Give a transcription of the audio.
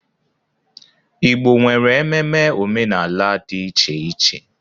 Igbo nwere ememe omenala dị iche iche.